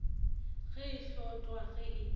ge e hlotlwa ge e